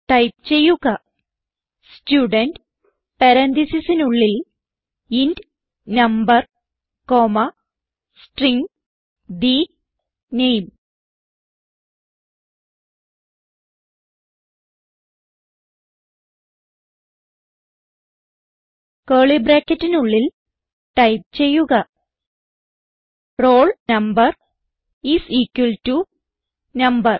type ചെയ്യുക student പരാൻതീസിസിനുള്ളിൽ int number comma string the name curly ബ്രാക്കറ്റിനുള്ളിൽ ടൈപ്പ് ചെയ്യുക roll number is equal to number